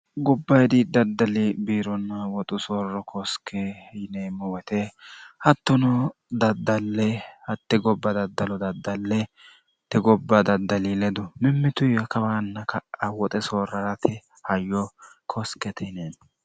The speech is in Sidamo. gobba hidi daddali biironna woxu soorro koosike yineemmo woyite hattono daddalle hatte gobba daddalo daddallete gobba daddali ledu mimmitu ya kawaanna kawoxe soorrarate hayyo koosqete yinenno